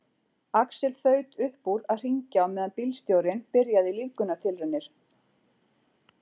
Axel þaut upp úr að hringja á meðan bílstjórinn byrjaði lífgunartilraunir.